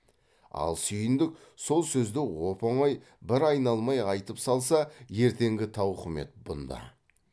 ал сүйіндік сол сөзді оп оңай бір айналмай айтып салса ертеңгі тауқымет бұнда